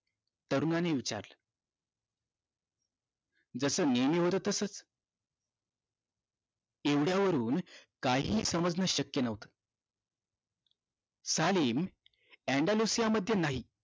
तरुणांनी विचारलं जस मी मिळवलं तसेच एवढ्यावरून काहीही समजणं शक्य न्हवत सालेन अण्डलोसिय नाही